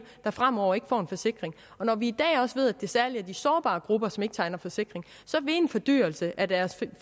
der fremover ikke får en forsikring og når vi i dag også ved at det særlig er de sårbare grupper som ikke tegner forsikring så vil en fordyrelse af deres